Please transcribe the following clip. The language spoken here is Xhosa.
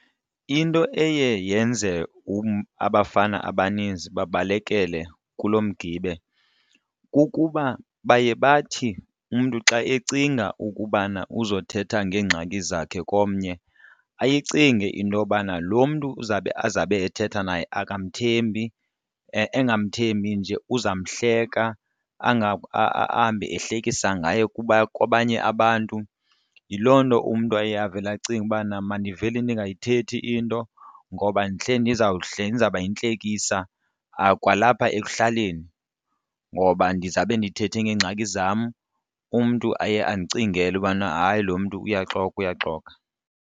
Into eye yenze abafana abaninzi babalekele kulo mgibe kukuba baye bathi umntu xa ecinga ukubana uzothetha ngeengxaki zakhe komnye ayicinge intobana lo mntu uzawube azabe ethetha naye akamthembi angamthembi nje uzamhleka ahambe ehlekisa ngaye kwabanye abantu. Yiloo nto umntu aye avele acinge ubana mandivele ndingayithethi into ngoba ndihleli ndizawuba yintlekisa kwalapha ekuhlaleni ngoba ndizawube ndithethe ngeengxaki zam, umntu aye andicingele ubana hayi lo mntu uyaxoka uyaxoka.